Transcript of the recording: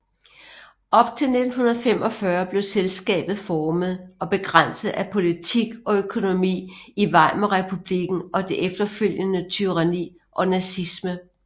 Op til 1945 blev selskabet formet og begrænset af politik og økonomi i Weimarrepublikken og det efterfølgende tyranni og nazisme